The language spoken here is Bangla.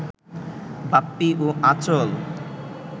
বাপ্পী ও আঁচল